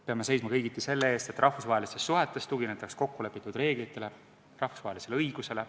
Peame seisma kõigiti selle eest, et rahvusvahelistes suhetes tuginetaks kokkulepitud reeglitele, rahvusvahelisele õigusele.